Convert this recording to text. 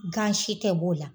Gan si tɛ bɔ o la